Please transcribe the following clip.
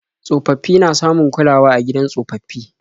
Tsofaffi na samun kulawa a gidan tsofaffi.